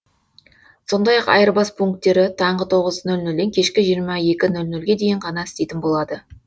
сондай ақ айырбас пунктері таңғы тоғыз нөл нөлден кешкі жиырма нөл нөлге дейін ғана істейтін болады